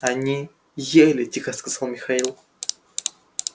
они ели тихо сказал михаил